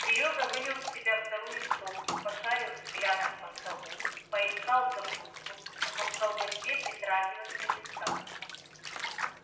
серёга вылил в себя вторую стопку пошарил взглядом по столу поискал закуску но к колбасе притрагиваться не стал